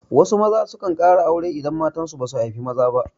Wasu maza sukan ƙara aure idan matan su basu haifi maza ba.